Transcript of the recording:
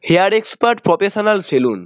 Hair expert professional salon.